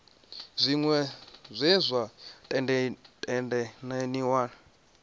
zwiṅwe zwa zwe zwa tendelaniwa